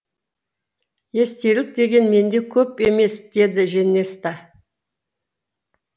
естелік деген менде көп емес деді женеста